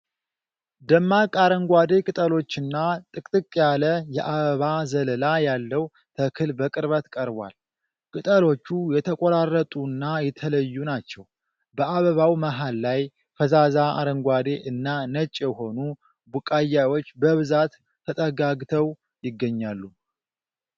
ደማቅ አረንጓዴ ቅጠሎችና ጥቅጥቅ ያለ የአበባ ዘለላ ያለው ተክል በቅርበት ቀርቧል። ቅጠሎቹ የተቆራረጡና የተለዩ ናቸው። በአበባው መሀል ላይ ፈዛዛ አረንጓዴ እና ነጭ የሆኑ ቡቃያዎች በብዛት ተጠጋግተው ይገኛሉ።